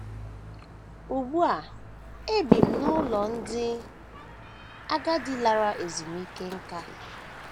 Ugbu a ebi m n’ụlọ ndị agadi lara ezumike nká.